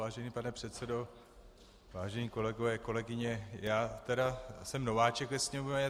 Vážený pane předsedo, vážení kolegové, kolegyně, já tedy jsem nováček ve Sněmovně.